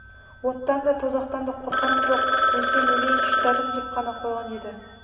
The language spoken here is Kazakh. оттан да тозақтан да қорқарым жоқ өлсем өлейін шыдадым деп қана қойған еді